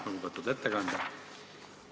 Lugupeetud ettekandja!